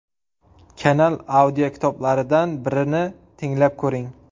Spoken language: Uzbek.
Kanal audiokitoblaridan birini tinglab ko‘ring.